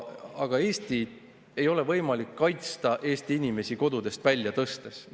Aga Eestit ei ole võimalik kaitsta Eesti inimesi kodudest välja tõstes.